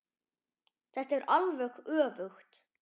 Þetta er alveg öfugt.